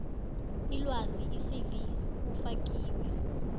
ilwazi icv ufakiwe